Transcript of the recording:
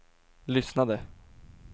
lyssnade